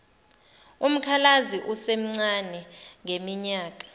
umkhalazi esemncane ngeminyaka